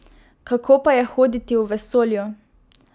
Kako pa je hoditi v vesolju?